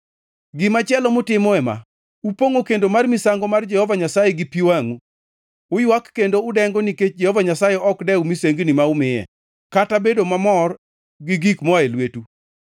Gimachielo mutimo ema: Upongʼo kendo mar misango mar Jehova Nyasaye gi pi wangʼu. Uywak kendo udengo nikech Jehova Nyasaye ok dew misengni ma umiye, kata bedo mamor gi gik moa lwetu.